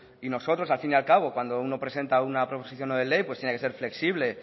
y nosotros al fin y al cabo cuando uno presenta una proposición no de ley pues tiene que ser flexible